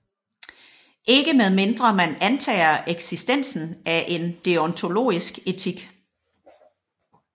Ikke med mindre man antager eksistensen af en deontologisk etik